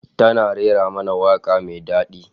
Tana rera mana waka mai dadi